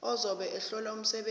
ozobe ehlola umsebenzi